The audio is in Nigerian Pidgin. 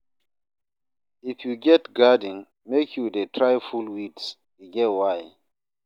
If you get garden, make you dey try pull weeds, e get why.